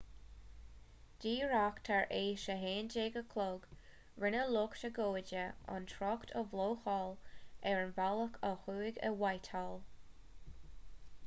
díreach tar éis a 11:00 rinne lucht agóide an trácht a bhlocáil ar an bhealach ó thuaidh i whitehall